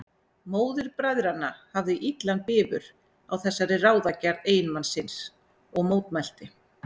Móðir bræðranna hafði illan bifur á þessari ráðagerð eiginmanns síns og mótmælti.